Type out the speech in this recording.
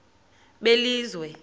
belizwe